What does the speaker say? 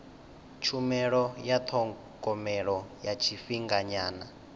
tshumelo ya thogomelo ya tshifhinganyana